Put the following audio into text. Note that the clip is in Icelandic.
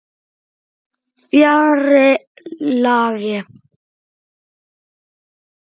Fjarri lagi.